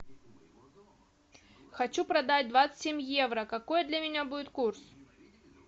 хочу продать двадцать семь евро какой для меня будет курс